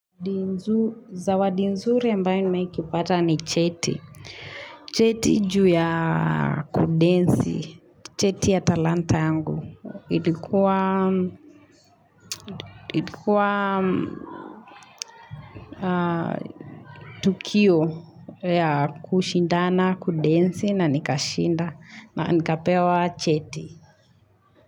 Zawadinzuri ambayo nimeaikipata ni cheti, cheti juu ya kudensi, cheti ya talanta yangu, ilikua itikua tukio ya kushindana, kudensi na nikashinda na nikapewa cheti.